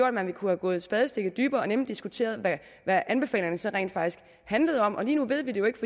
at man kunne gå et spadestik dybere og nemlig diskutere hvad anbefalingerne så rent faktisk handlede om lige nu ved vi det jo ikke